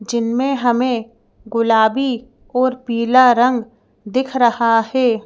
जिनमें हमें गुलाबी और पीला रंग दिख रहा है।